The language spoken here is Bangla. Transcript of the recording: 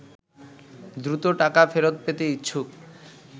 দ্রুত টাকা ফেরত পেতে ইচ্ছুক